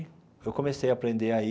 Eu comecei a aprender aí.